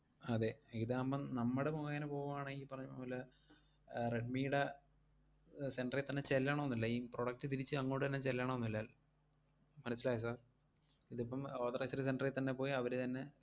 അതെ, ഇതാമ്പം നമ്മടെ മുഖേനെ പോവാണെങ്കി ഈ പറഞ്ഞപോലെ ഏർ റെഡ്‌മിടെ ഏർ center ഈ തന്നെ ചെല്ലണോന്നില്ല. ഈ product തിരിച്ച് അങ്ങോട്ട് തന്നെ ചെല്ലണോന്നില്ല മനസ്സിലായോ sir? ഇതിപ്പം authorized center ഇ തന്നെ പോയി അവരു തന്നെ,